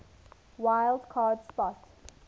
wild card spot